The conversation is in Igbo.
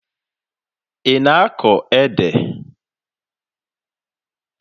Ị na-akọ ede?